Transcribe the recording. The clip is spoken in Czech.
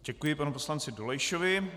Děkuji panu poslanci Dolejšovi.